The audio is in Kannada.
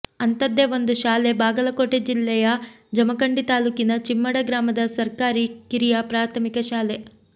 ಅಂಥದ್ದೇ ಒಂದು ಶಾಲೆ ಬಾಗಲಕೋಟೆ ಜಿಲ್ಲೆಯ ಜಮಖಂಡಿ ತಾಲ್ಲೂಕಿನ ಚಿಮ್ಮಡ ಗ್ರಾಮದ ಸರ್ಕಾರಿ ಕಿರಿಯ ಪ್ರಾಥಮಿಕ ಶಾಲೆ